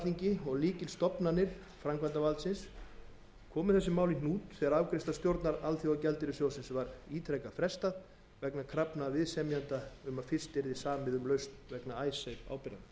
alþingi og lykilstofnanir framkvæmdarvaldsins komu þessu máli í hnút þegar afgreiðslu stjórnar alþjóðagjaldeyrissjóðsins var ítrekað frestað vegna krafna viðsemjenda um að fyrst yrði samið um lausn vegna icesave ábyrgða